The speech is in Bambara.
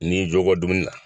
N'i y'i jo bɔ dumuni la.